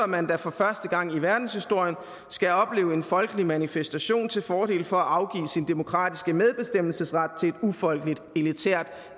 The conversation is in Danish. man da for første gang i verdenshistorien skal opleve en folkelig manifestation til fordel for at afgive sin demokratiske medbestemmelsesret til et ufolkeligt elitært